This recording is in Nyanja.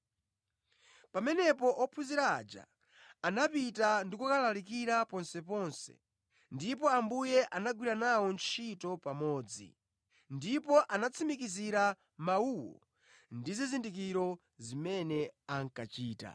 Pamenepo ophunzira aja anapita ndi kukalalikira ponseponse, ndipo Ambuye anagwira nawo ntchito pamodzi, ndipo anatsimikizira mawuwo ndi zizindikiro zimene ankachita.